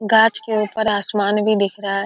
गाछ के ऊपर आसमान भी दिख रहा है।